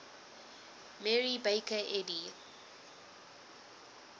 mary baker eddy